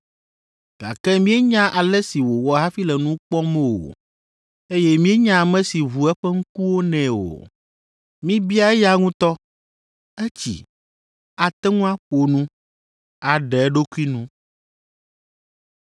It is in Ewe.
Gake míenya ale si wòwɔ hafi le nu kpɔm o, eye míenya ame si ʋu eƒe ŋkuwo nɛ o. Mibia eya ŋutɔ; etsi, ate ŋu aƒo nu, aɖe eɖokui nu.”